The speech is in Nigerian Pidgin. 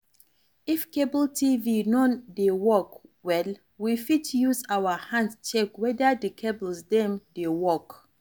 If cable TV non dey work well, we fit use our hand check weda di cables dem dey work